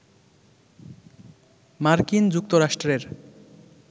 মার্কিন যুক্তরাষ্ট্রের